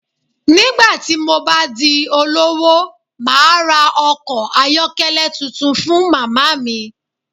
Nígbà tí mo bá di olówó, màá ra ọkọ̀ ayọ́kẹ́lẹ́ tuntun fún màmá mi